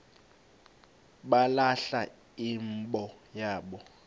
balahla imbo yabo